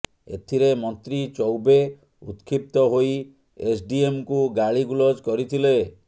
ଏଥିରେ ମନ୍ତ୍ରୀ ଚୋୖବେ ଉତକ୍ଷିପ୍ତ ହୋଇ ଏସଡ଼ିଏମଙ୍କୁ ଗାଳି ଗୁଲଜ କରିଥିଲେ